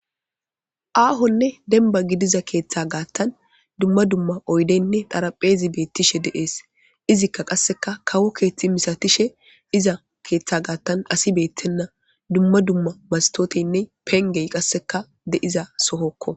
Aahonne denba gidiza keeththa gaattan dumma dumma oydeynne dharapheezi beettishe de'ees izikka qasseka kawo keeththi misatishe iza keeththa gaattan asi beettenna dumma dumma mastooteynne pengey qasseka de'iza sohokko.